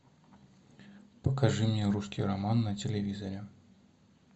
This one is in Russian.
покажи мне русский роман на телевизоре